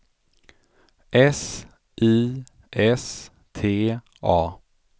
S I S T A